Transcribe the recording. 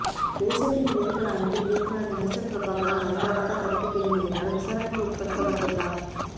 தேசத்தின் வேர்கள் அமைப்பின் இயக்குனர் கணேசன் பிரபாகரன் பயங்கரவாத தடுப்புப் பிரிவினரினால் விசாரணைக்குட்படுத்தப்பட்டுள்ளார்